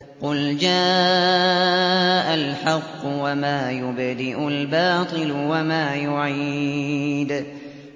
قُلْ جَاءَ الْحَقُّ وَمَا يُبْدِئُ الْبَاطِلُ وَمَا يُعِيدُ